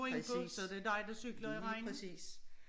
Præcis lige præcis